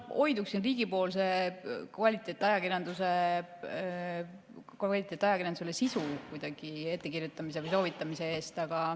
Ma hoiduksin riigipoolsest kvaliteetajakirjandusele sisu ettekirjutamisest või soovitamisest.